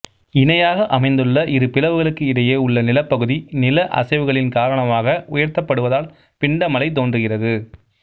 இணையாக அமைந்துள்ள இரு பிளவுகளுக்கு இடையே உள்ள நிலப்பகுதி நிலஅசைவுகளின் காரணமாக உயர்த்தப்படுவதால் பிண்டமலை தோன்றுகிறது